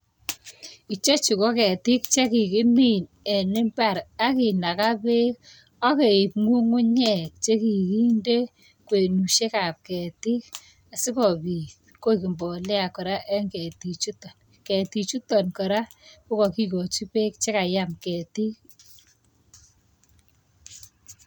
Chechu ko ketik che kegimin en imbar agi naga peek, ageib ng'ung'unyek che kikinde.